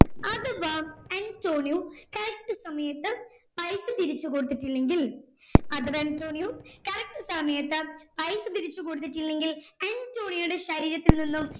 other wise Antonio correct സമയത് പൈസ തിരിച്ചു കൊടുത്തിട്ടില്ലെങ്കിൽ other അന്റോണിയ correct സമയത് പൈസ തിരിച്ചു കൊടുത്തിട്ടില്ലെങ്കിൽ അന്റോണിയോയുടെ ശരീരത്തിൽ നിന്നും